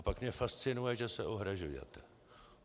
A pak mě fascinuje, že se ohrazujete.